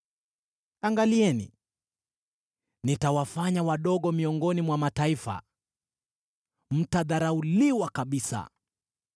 “Angalieni, nitawafanya wadogo miongoni mwa mataifa, mtadharauliwa kabisa.